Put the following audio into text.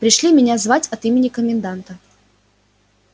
пришли меня звать от имени коменданта